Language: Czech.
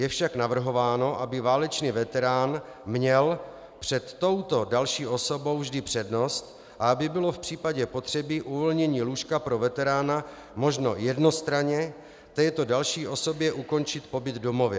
Je však navrhováno, aby válečný veterán měl před touto další osobou vždy přednost a aby bylo v případě potřeby uvolnění lůžka pro veterána možno jednostranně této další osobě ukončit pobyt v domově.